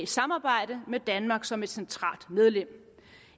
samarbejde med danmark som et centralt medlem